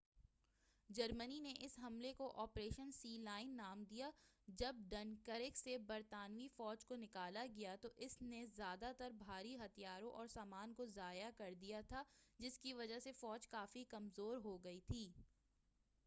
جرمنی نے اس حملے کو آپریشن سی لاین نام دیا جب ڈنکرک سے برطانوی فوج کو نکالا کیا گیا تو اس نے زیادہ تر بھاری ہتھیاروں اور سامان کو ضائع کر دیا تھا جس کی وجہ سے فوج کافی کمزور ہو گئی تھی